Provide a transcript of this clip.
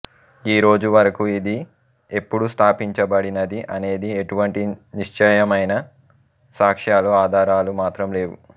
ఈ రోజు వరకు ఇది ఎప్పుడు స్థాపించబడినది అనేది ఎటువంటి నిశ్చయమైన సాక్ష్యాలు ఆధారాలు మాత్రం లేవు